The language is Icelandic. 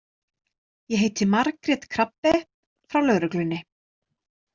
Ég heiti Margrét Krabbe frá lögreglunni.